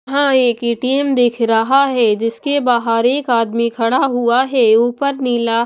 वहां एक ए_टी_एम दिख रहा है जिसके बाहर एक आदमी खड़ा हुआ है ऊपर नीला--